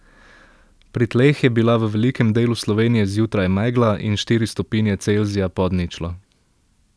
Pri tleh je bila v velikem delu Slovenije zjutraj megla in štiri stopinje Celzija pod ničlo.